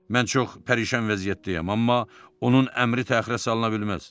Mən çox pərişan vəziyyətdəyəm, amma onun əmri təxirə salına bilməz.